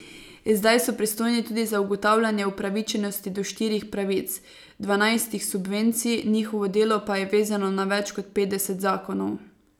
Zdaj so pristojni tudi za ugotavljanje upravičenosti do štirih pravic, dvanajstih subvencij, njihovo delo pa je vezano na več kot petdeset zakonov.